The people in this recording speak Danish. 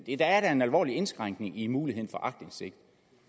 det er da en alvorlig indskrænkning i muligheden for aktindsigt